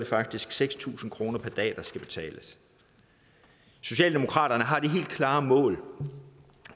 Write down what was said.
faktisk seks tusind kroner per dag der skal betales socialdemokratiet har det helt klare mål